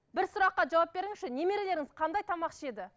бір сұраққа жауап беріңізші немерелеріңіз қандай тамақ ішеді